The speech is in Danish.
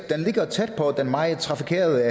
den ligger tæt på den meget trafikerede